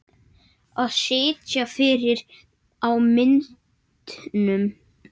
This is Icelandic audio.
Að sitja fyrir á myndum?